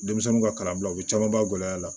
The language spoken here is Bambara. Denmisɛnninw ka kalan bula u bɛ camanba gɛlɛya la